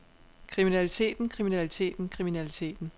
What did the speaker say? kriminaliteten kriminaliteten kriminaliteten